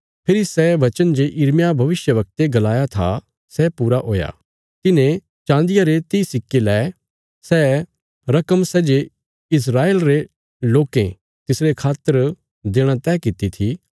फेरी सै बचन जे यिर्मयाह भविष्यवक्ते गलाया था सै पूरा हुया तिन्हे चान्दिया रे तीह सिक्के लै सै रकम सै जे इस्राएल रे लोकें तिसरे खातर देणा तैह किति थी